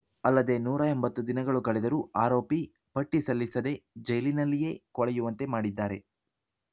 ಅಲ್ಲದೆ ನೂರ ಎಂಬತ್ತು ದಿನಗಳು ಕಳೆದರೂ ಆರೋಪಿ ಪಟ್ಟಿಸಲ್ಲಿಸದೆ ಜೈಲಿನಲ್ಲಿಯೇ ಕೊಳೆಯುವಂತೆ ಮಾಡಿದ್ದಾರೆ